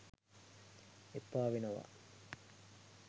එපා වෙනවා